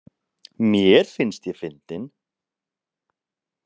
Mér finnst ég fyndin.